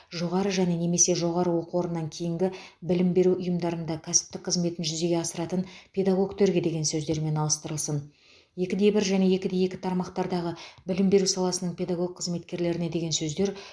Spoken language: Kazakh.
жоғары және немесе жоғары оқу орнынан кейінгі білім беру ұйымдарында кәсіптік қызметін жүзеге асыратын педагогтерге деген сөздермен алыстырылсын екіде бір және екіде екі тармақтардағы білім беру саласының педагог қызметкерлеріне деген сөздер